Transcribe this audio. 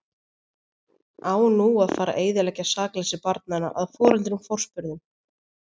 Á nú að fara eyðileggja sakleysi barnanna að foreldrum forspurðum?